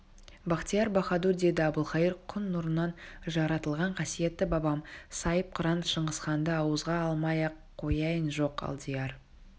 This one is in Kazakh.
бахтияр баһадур деді әбілқайыр күн нұрынан жаратылған қасиетті бабам сайыпқыран шыңғысханды ауызға алмай-ақ қояйын жоқ алдияр